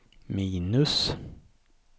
minus